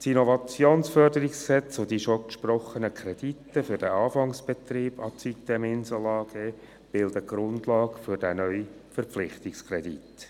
Das IFG und die bereits gesprochenen Kredite für den Anfangsbetrieb der sitem-Insel AG bilden die Grundlage für diesen neuen Verpflichtungskredit.